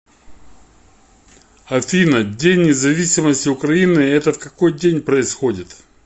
афина день независимости украины это в какой день происходит